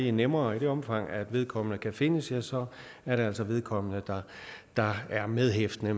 er nemmere og i det omfang vedkommende kan findes ja så er det altså vedkommende der er medhæftende